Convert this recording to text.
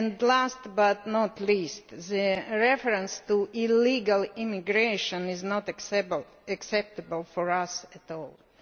Last but not least, the reference to illegal immigration is not acceptable for us at all.